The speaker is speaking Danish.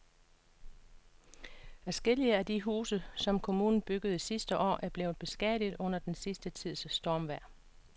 Adskillige af de huse, som kommunen byggede sidste år, er blevet beskadiget under den sidste tids stormvejr.